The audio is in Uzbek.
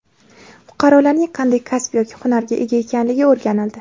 Fuqarolarning qanday kasb yoki hunarga ega ekanligi o‘rganildi.